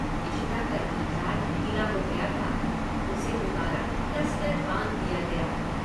इशिता का knee pad ढीला हो गया था उसे दुबारा कस कर बांध दिया गया।